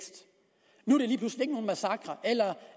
nogen massakre eller